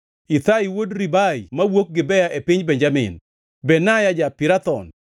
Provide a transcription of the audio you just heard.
Ithai wuod Ribai mawuok Gibea e piny Benjamin, Benaya ja-Pirathon,